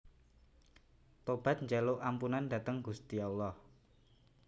Tobat njaluk ampunan dateng Gusti Allah